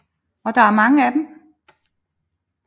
Og der er mange af dem